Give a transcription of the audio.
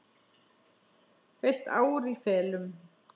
Heilt ár í felum.